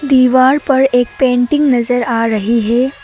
दीवार पर एक पेंटिंग नजर आ रही है।